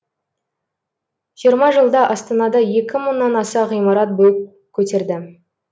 жиырма жылда астанада екі мыңнан аса ғимарат бой көтерді